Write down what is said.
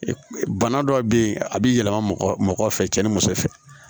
Bana dɔw be yen a bi yɛlɛma mɔgɔ fɛ cɛ ni muso fɛ